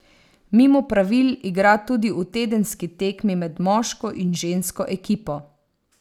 Mimo pravil igra tudi v tedenski tekmi med moško in žensko ekipo.